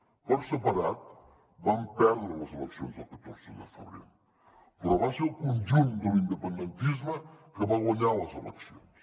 per separat vam perdre les eleccions del catorze de febrer però va ser el conjunt de l’independentisme que va guanyar les eleccions